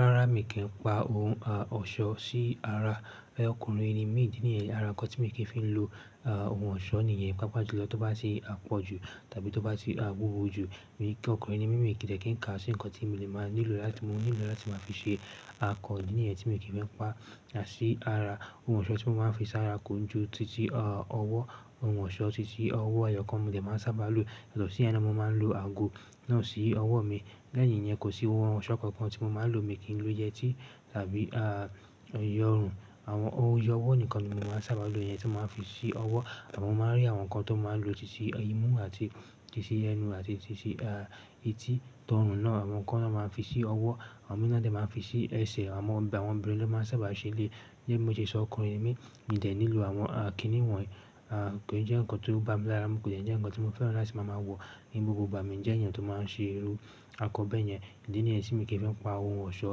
Rárá, mi kì í pa ohun ọ̀ṣọ́ sí ara. Ọkùnrin ni mi. Àrà nkán tí mo kì í fi ń lo oun ọ̀ṣọ́ nìyẹn. Pápá jù lọ tó bá se à pọ̀ jù, tàbí tó bá ti wúwo jù. Ọkùnrin ni mí, mi de kí n ka sí nkán tí mo lè máa nílò láti máa fi ṣe akọ mo níyẹn tí mo kì í fẹ́ pa sí ara. Ohun ọ̀ṣọ́ tí mo máa ń fi sí ara ko jú títí ọwọ́. Ohun ọ̀ṣọ́ títí ọwọ́ ẹyọkàn mo dẹ̀ máa ń sábà lo. Lọ sí ẹ naa, mo máa ń lo ago náà sí ọwọ́ mi. Lẹ́yìn yẹn, kò sí ohun ọ̀ṣọ́ kankan tí mo máa ń lo, mi kí n lo yẹtí tàbí iyọ̀run. Àwọn ohun iyọ̀wọ́ nìkan ni mo máa ń sábà lo. Eyẹ́n tí mo máa ń fi sí ọwọ́. Mo máa ń rí àwọn nkán tó máa ń lo títí imú àti títí ẹnu àti títí etí tọ̀run náà. Àwọn nkán náà máa ń fi sí ọwọ́. Àwọn mi náà dẹ̀ máa ń fi sí ẹsẹ̀. Àwọn ọba, àwọn obìnrin ló máa ń sábà ṣe eléyii. Gẹ́gẹ́ bi mo ṣe sọ ọkùnrin ni mi, mi dẹ̀ nílò àwọn kí ni wọ̀nyi. Kò ì jẹ́ nkán tó bá mi lára. Kò de jẹ́ nkán tí mo fẹ́ràn láti máa ma wọ, ní gbogbo ìgbà. Mi ń jẹ́ ènìyàn tó máa ń ṣe irú akọ bẹ́ẹ̀ yẹn. Idí níyẹn tí mi kì í fẹ́ pa ohun ọ̀ṣọ́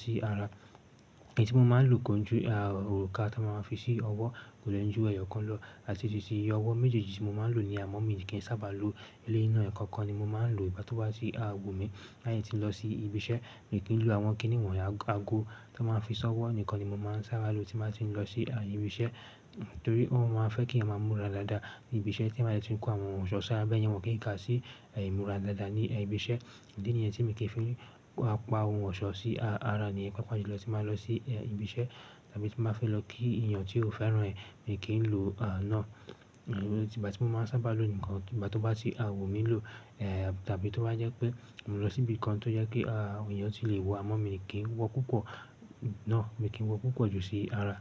sí ara. Eyii tí mo máa ń lò ko jú òka tí wọ́n máa ń fi sí ọwọ́. Kò dè ń jú ẹyọkàn lọ. Àti títí ọwọ́ méjèèjì tí mo máa ń lò ni, àmọ́ mi kì í sábà lo. Eléyii ná ẹkọkan ni mo máa ń lò, ìgbá tó bá tì wò mí. Lái tí ń lọ sí ibi iṣẹ́, mi kì í lò àwọn kíni wọ̀nyi àgò tó máa ń fi ṣọ́wọ́ nìkan ni mo máa ń sábà lo tí báa ń ti lọ sí ibi iṣẹ́. Nítorí wọ́n máa ń ma fẹ́ kí ẹyan máa múra dáadáa ní ibi iṣẹ́, tí eyan bá de tí ń kó àwọn ohun ọ̀ṣọ́ sí ara bẹ́ẹ̀ yẹn, wọ́n kì í ka sí ì múra dáadáa ní ibi iṣẹ́. Idí níyẹn tí mo kì í fi pa oun ọ̀ṣọ́ sí ara níyẹn. Pápá jù lọ tí bàá lọ sí ibi iṣẹ́ tàbí tí bàá fẹ́ lọ kí ènìyàn tí ò fẹ́ràn ẹ́, mi kì í lò náà. Ìgbá tí mo máa ń sábà lò nìkan, ìgbá tó bá sì à wò mí lò, tàbí tó bá jẹ́ pé mo lọ síbi kan tó jẹ́ pe ènìyàn tì lè wọ̀, àmọ́ mi kì í wọ púpọ̀ náà, mi kì í wọ púpọ̀ jù sí ara.